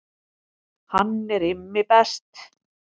Hann er Immi best